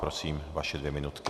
Prosím, vaše dvě minutky.